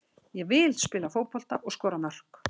Ég vil spila fótbolta og skora mörk.